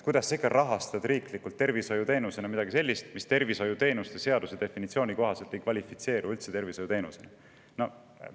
Kuidas sa ikka rahastad riiklikult tervishoiuteenusena midagi sellist, mis tervishoiuteenuste seaduse definitsiooni kohaselt ei kvalifitseeru üldse tervishoiuteenusena?